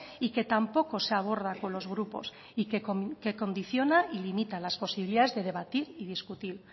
y que tampoco se aborda con los grupos y que condiciona y limita las posibilidades de debatir y discutir